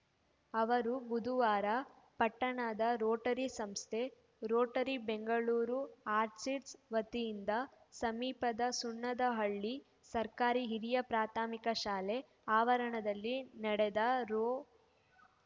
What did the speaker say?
ಅವರು ಬುಧವಾರ ಪಟ್ಟಣದ ರೋಟರಿ ಸಂಸ್ಥೆರೋಟರಿ ಬೆಂಗಳೂರು ಆರ್ಚಿರ್ಡ್ಸ್ ವತಿಯಿಂದ ಸಮೀಪದ ಸುಣ್ಣದಹಳ್ಳಿ ಸರ್ಕಾರಿ ಹಿರಿಯ ಪ್ರಾಥಮಿಕ ಶಾಲೆ ಆವರಣದಲ್ಲಿ ನೆಡೆದ ರೋ